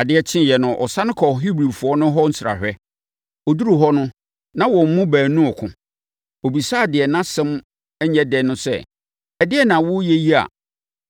Adeɛ kyeeɛ no, ɔsane kɔɔ Hebrifoɔ no hɔ nsrahwɛ. Ɔduruu hɔ no, na wɔn mu baanu reko. Ɔbisaa deɛ nʼasɛm nyɛ dɛ no sɛ, “Ɛdeɛn na woreyɛ yi a